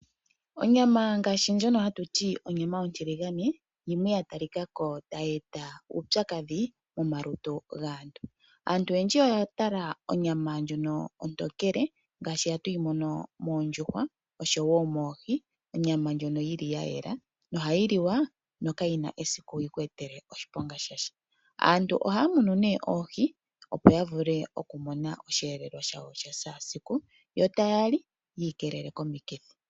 Onyama ngashi ndjoka hatwithana onyama ontiligane oyili ya tali kako hayi eta uupyakadhi momalutu gaantu. Aantu oyendji oya talako onyama ndjoka oontokele ngashi hatuyi mono moondjuhwa oshowo moohi, onyama ndjoka yili ya yela na ohayi liwa no kayina esiku yiku etele oshiponga shasha. Aantu ohaya munu ne oohi opo yiimonenene oshivelelwa shawo sha kehe esiku yo tayali yiikelele komiikithi.